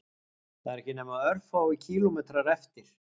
Það eru ekki nema örfáir kílómetrar eftir